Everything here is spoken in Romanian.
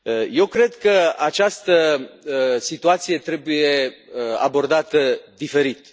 Eu cred că această situație trebuie abordată diferit.